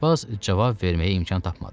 Aşpaz cavab verməyə imkan tapmadı.